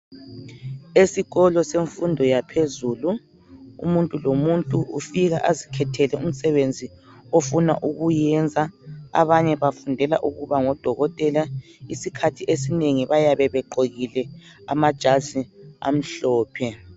Esikolo semfundo yaphezulu umuntu lomuntu ufika azikhethele umsebenzi ofuna ukuyenza. Abanye bafundela ukuba ngodokotela isikhathi esinengi bayabe begqokile amajazi amhlophe.